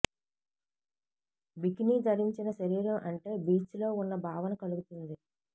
bikini ధరించిన శరీరం అంటే బీచ్ లో ఉన్న భావన కలుగుతుంది